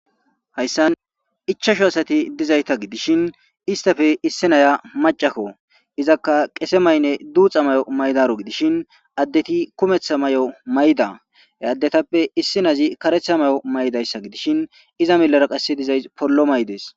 Hays San ichasho asati dizayta gidishin istafe issi naya macakko izakka qese maynne duuxa mayo maydaru gidishin addeti kumetha may7o mayda he addetappe issi nazi karetha may7o maydayssa gidishin iza milara qasse dizay pollo maydees.